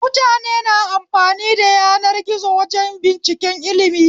Mutane na amfani da yanar gizo wajen binciken ilmi